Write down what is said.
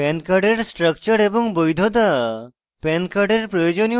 pan card সম্পর্কে pan card structure এবং বৈধতা